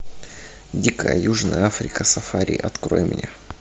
дикая южная африка сафари открой мне